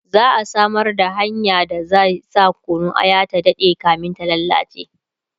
za'a Samar da hanyar da zai sa Kunun aya ta Dade kamin ta lallace